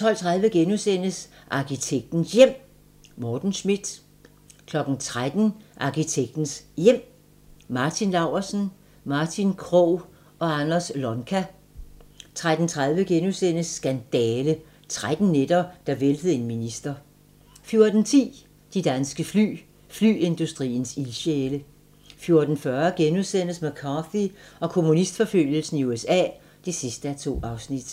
12:30: Arkitektens Hjem: Morten Schmidt * 13:00: Arkitektens Hjem: Martin Laursen, Martin Krogh og Anders Lonka 13:30: Skandale - 13 nætter, der væltede en minister * 14:10: De danske fly - Flyindustriens ildsjæle 14:40: McCarthy og kommunistforfølgelsen i USA (2:2)*